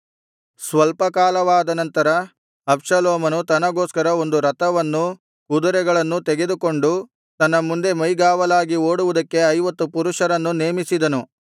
ಸ್ವಲ್ಪ ಕಾಲವಾದನಂತರ ಅಬ್ಷಾಲೋಮನು ತನಗೋಸ್ಕರ ಒಂದು ರಥವನ್ನು ಕುದುರೆಗಳನ್ನೂ ತೆಗೆದುಕೊಂಡು ತನ್ನ ಮುಂದೆ ಮೈಗಾವಲಾಗಿ ಓಡುವುದಕ್ಕೆ ಐವತ್ತು ಪುರುಷರನ್ನು ನೇಮಿಸಿದನು